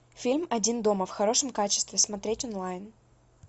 фильм один дома в хорошем качестве смотреть онлайн